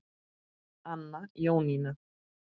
Anna Jónína.